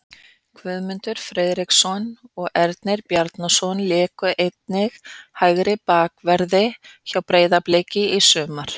Guðmundur Friðriksson og Ernir Bjarnason léku einnig í hægri bakverði hjá Breiðabliki í sumar.